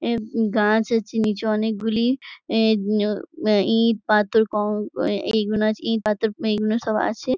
এই গাছ আছে নিচে অনেক গুলি। এ ও আ ইট পাথর ক এই গুনো আছে ইট পাথর এই গুনো সব আছে ।